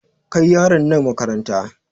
Kai yaran nan makaranta!